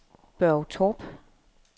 Børge Torp